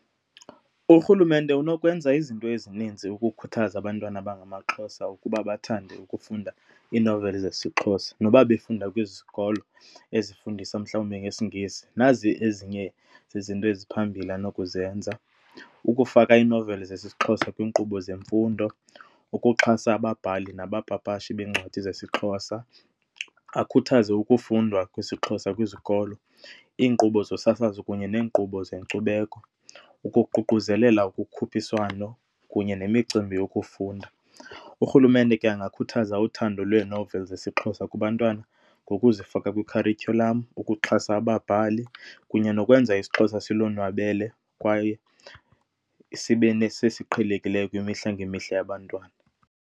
Urhulumente unokwenza izinto ezininzi ukukhuthaza abantwana abangamaXhosa ukuba bathande ukufunda iinoveli zesiXhosa noba befunda kwezi zikolo ezifundisa mhlawumbe ngesiNgesi. Nazi ezinye zezinto eziphambili anokuzenza, ukufaka iinoveli zesiXhosa kwiinkqubo zemfundo, ukuxhasa ababhali nabapapashi beencwadi zesiXhosa. Akhuthaze ukufundwa kwesiXhosa kwizikolo, iinkqubo zosasazo kunye neenkqubo zenkcubeko, ukuququzelela ukukhuphiswano kunye nemicimbi yokufunda. Urhulumente ke angakhuthaza uthando lwee-novels zesiXhosa kubantwana nokuzifaka kwikharityhulam ukuxhasa ababhali kunye nokwenza isiXhosa silononwabele kwaye sibe nesesiqhelekileyo kwimihla ngemihla yabantwana.